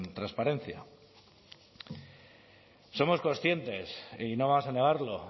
transparencia somos conscientes y no vamos a negarlo